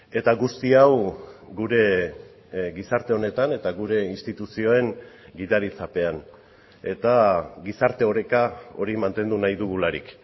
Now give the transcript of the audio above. eta guzti hau gure gizarte honetan eta gure instituzioen gidaritzapean eta gizarte oreka hori mantendu nahi dugularik